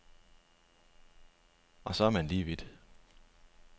Og så er man lige vidt.